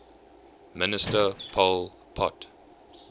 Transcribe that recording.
minister pol pot